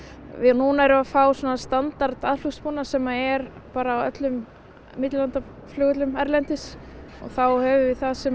núna erum við að fá svona standard aðflugsbúnað sem er bara á öllum millilandaflugvöllum erlendis og þá höfum við það sem